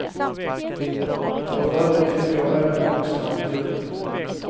För övrigt tycker även vuxna om djur.